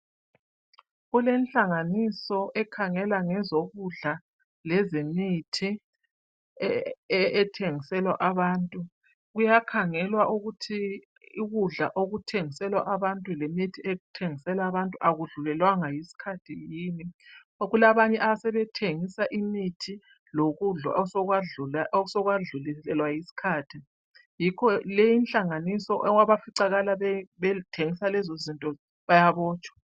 Kulenhlanganiso ekhangele ngezokudla lezemithi kuyakhangelwa ukuthi ukudla okuthengiselwa abantu lokudla okuthengiselwa abantu akudlulelwangwa yisikhathi yini ngoba kulabanye asebethengisa imithi lokudla osekwadluliselwa yisikhathi yikho leyi inhlanganisa abafica bezithengisa lezi izinto bayabotshwa